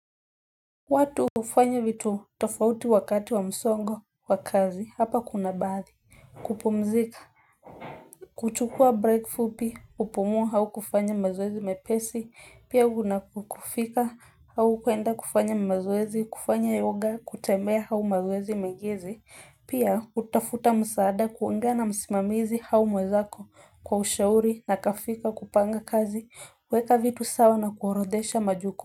Watu hufanya vitu tofauti wakati wa msongo wa kazi hapa kuna baadhi kupumzika kuchukua break fupi kupumua au kufanya mazoezi mepesi pia kuna kufika au kuenda kufanya mazoezi kufanya yoga kutembea au mazoezi megezi pia kutafuta msaada kuongea na msimamizi au mwezako kwa ushauri na kafika kupanga kazi kuweka vitu sawa na kuorodesha majukumu.